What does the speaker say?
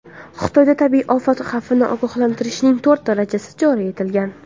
Xitoyda tabiiy ofat xavfini ogohlantirishning to‘rt darajasi joriy etilgan.